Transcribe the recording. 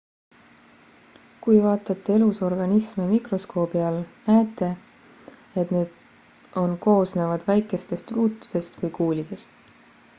kui vaatate elusorganisme mikroskoobi all näete et need on koosnevad väikestest ruutudest või kuulidest